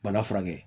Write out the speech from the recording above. Bana furakɛ